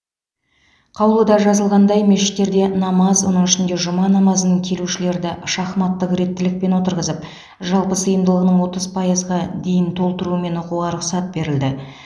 қаулыда жазылғандай мешіттерде намаз оның ішінде жұма намазын келушілерді шахматтық реттілікпен отырғызып жалпы сыйымдылығының отыз пайызға дейін толтырумен оқуға рұқсат берілді